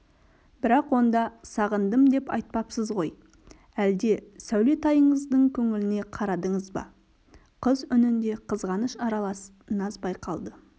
бірақ онда сағындым деп айтпапсыз ғой әлде сәулетайыңыздың көңіліне қарадыңыз ба қыз үнінде қызғаныш аралас наз байқалды